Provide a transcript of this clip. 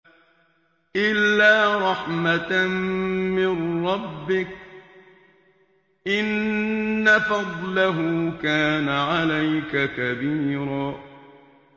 إِلَّا رَحْمَةً مِّن رَّبِّكَ ۚ إِنَّ فَضْلَهُ كَانَ عَلَيْكَ كَبِيرًا